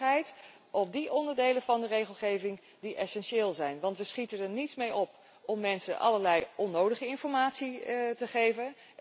Eenduidigheid ten aanzien van die onderdelen van de regelgeving die essentieel zijn. Want we schieten er niets mee op om mensen allerlei onnodige informatie te geven.